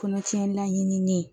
Kɔnɔtiɲɛ laɲininen